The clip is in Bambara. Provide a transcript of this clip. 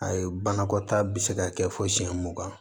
Ayi banakɔtaa bɛ se ka kɛ fo siyɛn mugan